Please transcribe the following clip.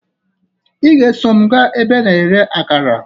Ị ga-eso m gaa ebe a na-ere akara